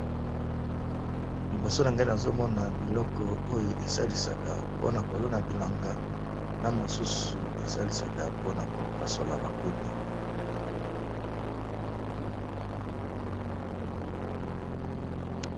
Liboso na ngai nazomona biloko oyo esalisaka mpona kolona bilanga na mosusu esalisaka mpona kopasola bakuni.